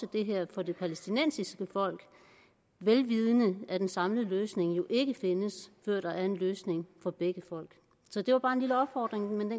det her for det palæstinensiske folk vel vidende at en samlet løsning jo ikke findes før der er en løsning for begge folk det var bare en lille opfordring men